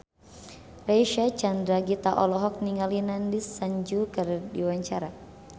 Reysa Chandragitta olohok ningali Nandish Sandhu keur diwawancara